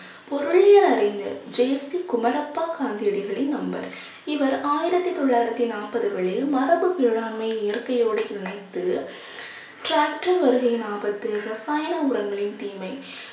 பொருளியல் அறிஞர் ஜெயஸ்ரீ குமரப்பா காந்தியடிகளின் நண்பர் இவர் ஆயிரத்தி தொள்ளாயிரத்தி நாற்பதுகளில் மரபு வேளாண்மை இயற்கையோடு இணைத்து tractor வருகையின் ஆபத்து ரசாயன உரங்களின் தீமை